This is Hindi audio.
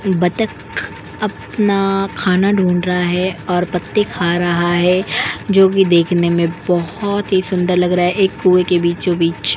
बतक अपना खाना ढूंढ रहा है और पत्ते खा रहा है जो कि देखने में बहुत ही सुंदर लग रहा है एक कुए के बीचोंबीच ।